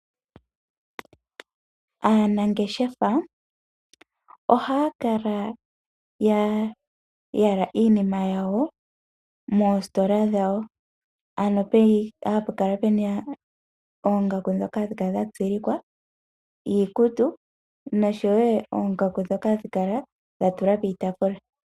Aanangeshefa ohaya kala ya yala iinima yawo, moositola dhawo. Ano hapu kala puna oongaku dhoka hadhi kala dha tsilikwa, iikutu, noshowo oongaku dhoka hadhi kala dha tulwa piitaafula.